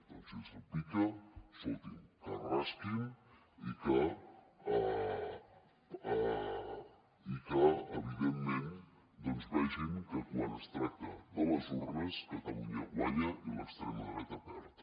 doncs si els pica escolti’m que es rasquin i que evidentment doncs vegin que quan es tracta de les urnes catalunya guanya i l’extrema dreta perd